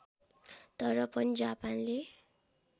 तर पनि जापानले